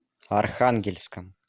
архангельском